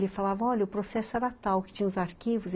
Ele falava, olha, o processo era tal, que tinha os arquivos.